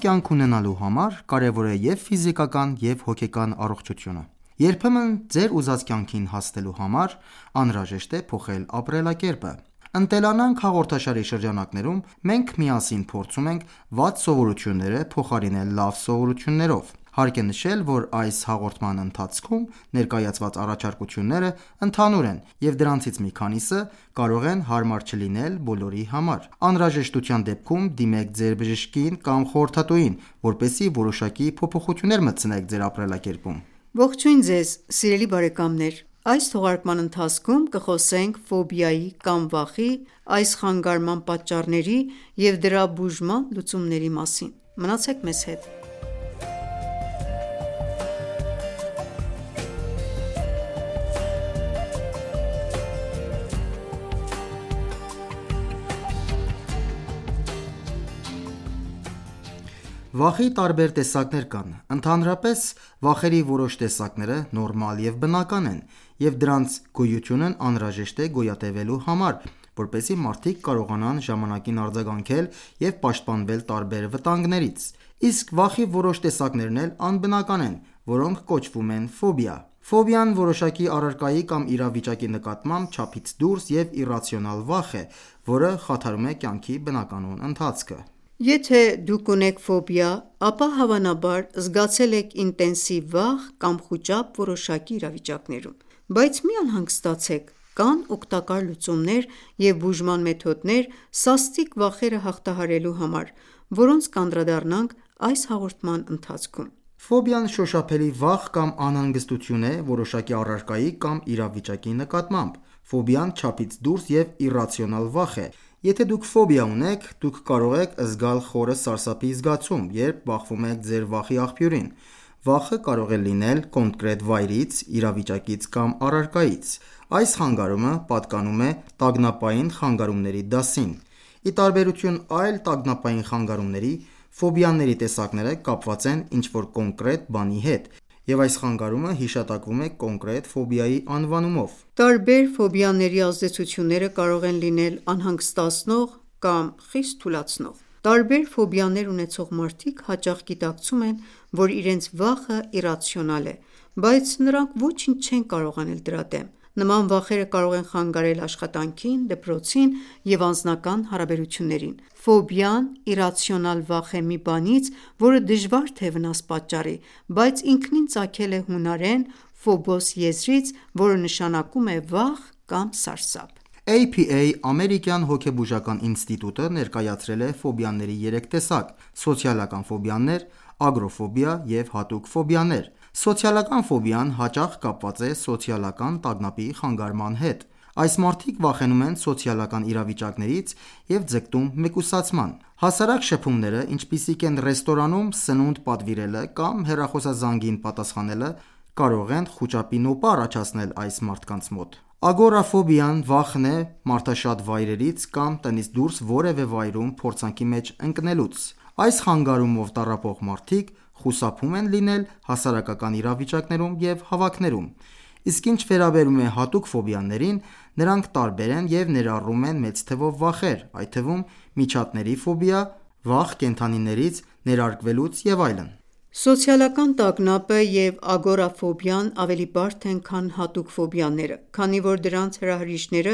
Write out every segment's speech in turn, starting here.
կյանք ունենալու համար կարևոր է և՛ ֆիզիկական, և՛ հոգեկան առողջությունը։ Երբեմն ձեր ուզած կյանքին հասնելու համար անհրաժեշտ է փոխել ապրելակերպը։ «Ընտելանանք» հաղորդաշարի շրջանակներում մենք միասին փորձում ենք վատ սովորությունները փոխարինել լավ սովորություններով։ Հարկ է նշել, որ այս հաղորդման ընթացքում ներկայացված առաջարկությունները ընդհանուր են, և դրանցից մի քանիսը կարող են հարմար չլինել բոլորի համար: Անհրաժեշտության դեպքում դիմեք ձեր բժշկին կամ խորհրդատուին, որպեսզի որոշակի փոփոխություններ մտցնեք ձեր ապրելակերպում: Ողջույն սիրելի բարեկամներ։ Այս թողարկման ընթացքում կխոսենք ֆոբիայի կամ վախի, այս խանգարման պատճառների և դրա բուժման լուծումների մասին։ Մնացեք մեզ հետ։ Վախի տարբեր տեսակներ կան։ Ընդհանրապես, վախերի որոշ տեսակները նորմալ և բնական են, և դրանց գոյությունն անհրաժեշտ է գոյատևելու համար, որպեսզի մարդիկ կարողանան ժամանակին արձագանքել և պաշտպանվել տարբեր վտանգներից։ Իսկ վախի որոշ տեսակներն էլ անբնական են, որոնք կոչվում են ֆոբիա: Ֆոբիան որոշակի առարկայի կամ իրավիճակի նկատմամբ չափից դուրս և իռացիոնալ վախ է, որը խաթարում է կյանքի բնականոն ընթացքը: Եթե դուք ունեք ֆոբիա, ապա, հավանաբար, զգացել եք ինտենսիվ վախ կամ խուճապ որոշակի իրավիճակներում: Բայց մի անհանգստացեք, կան օգտակար լուծումներ և բուժման մեթոդներ սաստիկ վախերը հաղթահարելու համար, որոնց կանդրադառնանք այս հաղորդման ընթացքում: Ֆոբիան շոշափելի վախ կամ անհանգստություն է որոշակի առարկայի կամ իրավիճակի նկատմամբ: Ֆոբիան չափից դուրս և իռացիոնալ վախ է: Եթե դուք ֆոբիա ունեք, դուք կարող եք զգալ խորը սարսափի զգացում, երբ բախվում եք ձեր վախի աղբյուրին: Վախը կարող է լինել կոնկրետ վայրից, իրավիճակից կամ առարկայից: Այս խանգարումը պատկանում է տագնապային խանգարումների դասին։ Ի տարբերություն այլ տագնապային խանգարումների, ֆոբիաների տեսակները կապված են ինչ-որ կոնկրետ բանի հետ, և այս խանգարումը հիշատակվում է կոնկրետ ֆոբիայի անվանումով: Տարբեր ֆոբիաների ազդեցությունները կարող են լինել անհանգստացնող կամ խիստ թուլացնող: Տարբեր ֆոբիաներ ունեցող մարդիկ հաճախ գիտակցում են, որ իրենց վախը իռացիոնալ է, բայց նրանք ոչինչ չեն կարող անել դրա դեմ: Նման վախերը կարող են խանգարել աշխատանքին, դպրոցին և անձնական հարաբերություններին: Ֆոբիան իռացիոնալ վախ է մի բանից, որը դժվար թե վնաս պատճառի: Բառը ինքնին ծագել է հունարեն «phobos» եզրից, որը նշանակում է «վախ» կամ «սարսափ»: APA (American Psychological Association ) Ամերիկյան հոգեբուժական ինստիտուտը ներկայացրել է ֆոբիաների երեք տեսակ. սոցիալական ֆոբիաներ, ագորաֆոբիա և հատուկ ֆոբիաներ։ Սոցիալական ֆոբիան հաճախ կապված է սոցիալական տագնապի խանգարման հետ: Այս մարդիկ վախենում են սոցիալական իրավիճակներից և ձգտում մեկուսացման։ Հասարակ շփումները, ինչպիսիք են ռեստորանում սնունդ պատվիրելը կամ հեռախոսազանգին պատասխանելը, կարող են խուճապի նոպա առաջացնել այս մարդկանց մոտ: Ագորաֆոբիան վախն է մարդաշատ վայրերից կամ տնից դուրս որևէ վայրում փորձանքի մեջ ընկելուց: Այս խանգարումով տառապող մարդիկ խուսափում են լինել հասարակական իրավիճակներում և հավաքներում։ Իսկ ինչ վերաբերում է Հատուկ ֆոբիաներին, նրանք տարբեր են և ներառում են մեծ թվով վախեր, այդ թվում՝ միջատների ֆոբիա, վախ՝ կենդանիներից, ներարկվելուց և այլն։ Սոցիալական տագնապը և ագորաֆոբիան ավելի բարդ են, քան հատուկ ֆոբիաները, քանի որ դրանց հրահրիչները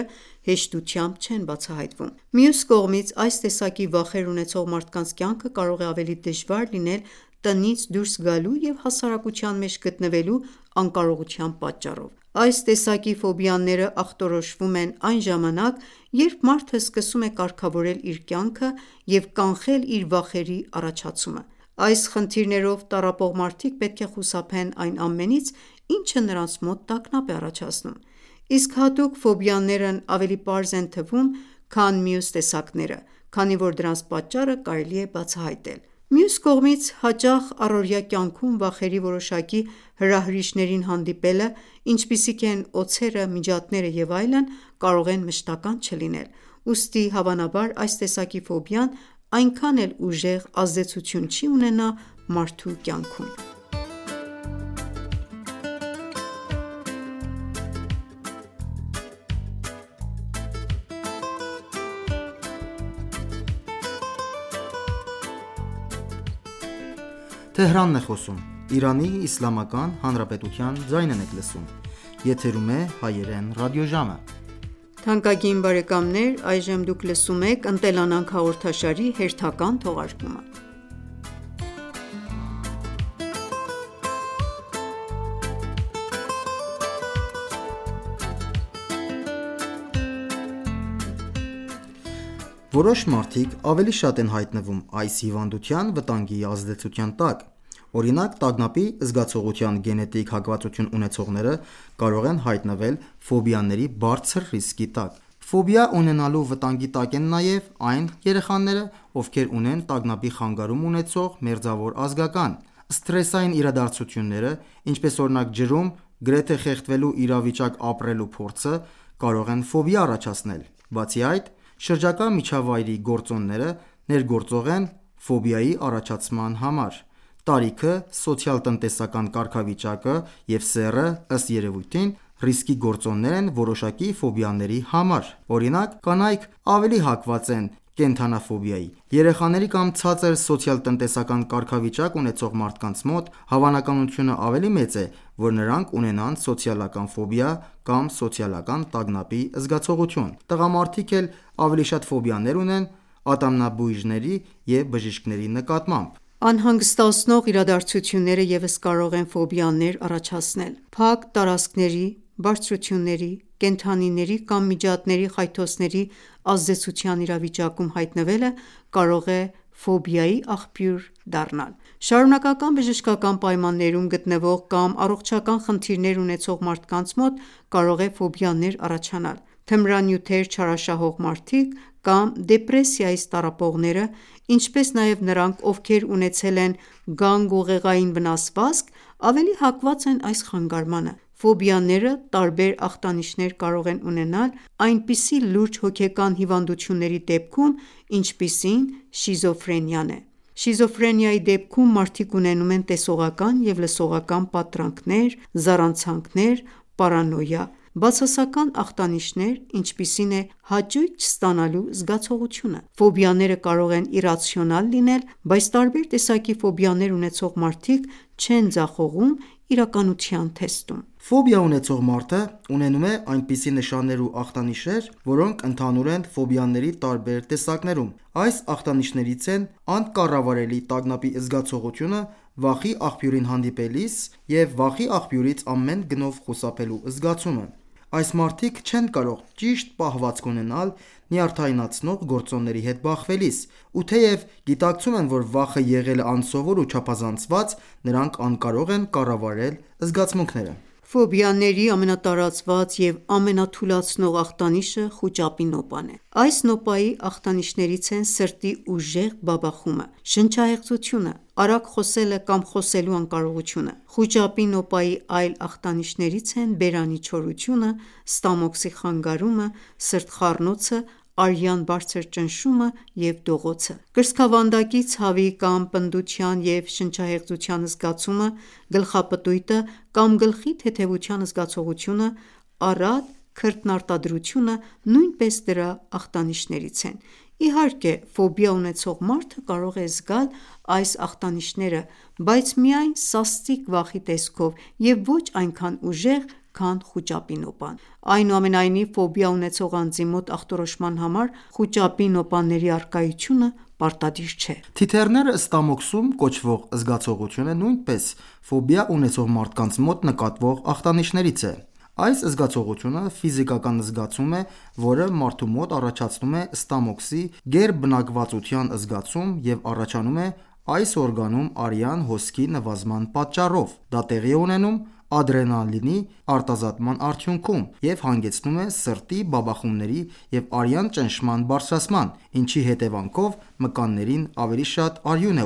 հեշտությամբ չեն բացահայտվում: Մյուս կողմից, այս տեսակի վախեր ունեցող մարդկանց կյանքը կարող է ավելի դժվար լինել տնից դուրս գալու և հասարակության մեջ գտնվելու անկարողության պատճառով: Այս տեսակի ֆոբիաները ախտորոշվում են այն ժամանակ, երբ մարդը սկսում է կարգավորել իր կյանքը և կանխել իր վախերի առաջացումը։ Այս խնդիրներով տառապող մարդիկ պետք է խուսափեն այն ամենից, ինչը նրանց մոտ տագնապ է առաջացնում: Իսկ հատուկ ֆոբիաներն ավելի պարզ են թվում, քան մյուս տեսակները, քանի որ դրանց պատճառը կարելի է բացահայտել: Մյուս կողմից, հաճախ առօրյա կյանքում վախերի որոշակի հրահրիչներին հանդիպելը, ինչպիսիք են օձերը, միջատները և այլն, կարող են մշտական չլինել: Ուստի, հավանաբար այս տեսակի ֆոբիան այնքան էլ ուժեղ ազդեցություն չի ունենա մարդու կյանքում։ Որոշ մարդիկ ավելի շատ են հայտնվում այս հիվանդության վտանգի ազդեցության տակ։ Օրինակ տագնապի զգացողության գենետիկ հակվածություն ունեցողները կարող են հայտնվել ֆոբիաների բարձր ռիսկի տակ: Ֆոբիա ունենալու վտանգի տակ են նաև այն երեխաները, ովքեր ունեն տագնապի խանգարում ունեցող մերձավոր ազգական: Սթրեսային իրադարձությունները, ինչպես օրինակ ջրում գրեթե խեղդվելու իրավիճակ ապրելու փորձը, կարող են ֆոբիա առաջացնել: Բացի այդ, շրջակա միջավայրի գործոնները ներգործող են ֆոբիայի առաջացման համար: Տարիքը, սոցիալ-տնտեսական կարգավիճակը և սեռը, ըստ երևույթին, ռիսկի գործոններ են որոշակի ֆոբիաների համար: Օրինակ՝ կանայք ավելի հակված են կենդանաֆոբիայի։ Երեխաների կամ ցածր սոցիալ-տնտեսական կարգավիճակ ունեցող մարդկանց մոտ հավանականությունը ավելի մեծ է, որ նրանք ունենան սոցիալական ֆոբիա կամ սոցիալական տագնապի զգացողություն: Տղամարդիկ էլ ավելի շատ ֆոբիաներ ունեն ատամնաբույժների և բժիշկների նկատմամբ: Անհանգստացնող իրադարձությունները ևս կարող են ֆոբիաներ առաջացնել: Փակ տարածքների, բարձրությունների, կենդանիների կամ միջատների խայթոցների ազդեցության իրավիճակում հայտնվելը կարող է ֆոբիայի աղբյուր դառնալ: Շարունակական բժշկական պայմաններում գտնվող կամ առողջական խնդիրներ ունեցող մարդկանց մոտ կարող է ֆոբիաներ առաջանալ: Թմրանյութեր չարաշահող մարդիկ կամ դեպրեսիայից տառապողները, ինչպես նաև նրանք, ովքեր ունեցել են գանգուղեղային վնասվածք, ավելի հակված են այս խանգարմանը: Ֆոբիաները տարբեր ախտանիշներ կարող են ունենալ այնպիսի լուրջ հոգեկան հիվանդությունների դեպքում, ինչպիսին շիզոֆրենիան է: Շիզոֆրենիայի դեպքում մարդիկ ունենում են տեսողական և լսողական պատրանքներ, զառանցանքներ, պարանոյա*, բացասական ախտանիշներ, ինչպիսին է հաճույք չստանալու զգացողությունը։ Ֆոբիաները կարող են իռացիոնալ լինել, բայց տարբեր տեսակի ֆոբիաներ ունեցող մարդիկ չեն ձախողում իրականության թեստում: Ֆոբիա ունեցող մարդը ունենում է այնպիսի նշաններ ու ախտանիշներ, որոնք ընդհանուր են ֆոբիաների տարբեր տեսակներում: Այս ախտանիշներից են անկառավարելի տագնապի զգացողությունը վախի աղբյուրին հանդիպելիս և վախի աղբյուրից ամեն գնով խուսափելու զգացումը։ Այս մարդիկ չեն կարող ճիշտ պահվածք ունենալ նյարդայնացնող գործոնների հետ բախվելիս ու թեև գիտակցում են, որ վախը եղել է անսովոր ու չափազանցված, նրանք անկարող են կառավարել զգացմունքները: Ֆոբիաների ամենատարածված և ամենաթուլացնող ախտանիշը խուճապի նոպան է: Այս նոպայի ախտանիշներից են սրտի ուժեղ բաբախումը, շնչահեղձությունը, արագ խոսելը կամ խոսելու անկարողությունը: Խուճապի նոպայի այլ ախտանիշներից են բերանի չորությունը, ստամոքսի խանգարումը, սրտխառնոցը, արյան բարձր ճնշումը, դողոցը: Կրծքավանդակի ցավի կամ պնդության և շնչահեղձության զգացումը, գլխապտույտը կամ գլխի թեթևության զգացողությունը, առատ քրտնարտադրությունը նույնպես դրա ախտանիշներից են: Իհարկե, ֆոբիա ունեցող մարդը կարող է զգալ այս ախտանիշները, բայց միայն սաստիկ վախի տեսքով և ոչ այնքան ուժեղ, քան խուճապի նոպան: Այնուամենայնիվ, ֆոբիա ունեցող անձի մոտ ախտորոշման համար խուճապի նոպաների առկայությունը պարտադիր չէ։ «Թիթեռները Ստամոքսում» (Butterflies in the stomach) կոչվող զգացողությունը նույնպես ֆոբիա ունեցող մարդկանց մոտ նկատվող ախտանիշներից է։ Այս զգացողությունը ֆիզիկական զգացումը է, որը մարդու մոտ առաջացնում է ստամոքսի գերբնակվածության զգացում և առաջանում է այս օրգանում արյան հոսքի նվազման պատճառով։ Դա տեղի է ունենում ադրենալինի արտազատման արդյունքում, և հանգեցնում է սրտի բաբախումների և արյան ճնշման բարձրացման, ինչի հետևանքով մկաններին ավելի շատ արյուն է